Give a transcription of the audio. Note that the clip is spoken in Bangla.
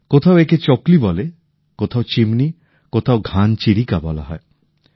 কোথাও একে চকলী বলে কোথাও চিমনী কোথাও ঘান চিরিকা বলা হয়